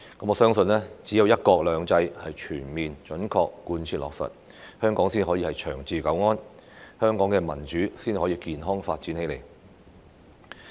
我相信只有"一國兩制"全面準確貫徹落實，香港才可以長治久安，香港的民主才可以健康發展起來。